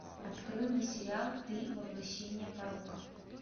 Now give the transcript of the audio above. открой мне сериал ты воплощение порока